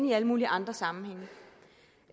i alle mulige andre sammenhænge